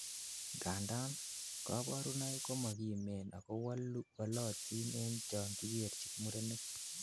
Ngandan, koborunoik ko mokimen ako wolotin en chon kikerchin murenik.